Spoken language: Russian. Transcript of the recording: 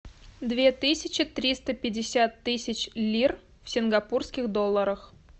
две тысячи триста пятьдесят тысяч лир в сингапурских долларах